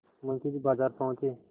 मुंशी जी बाजार पहुँचे